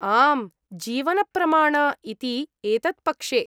आम्, जीवनप्रमाण इति एतत्पक्षे।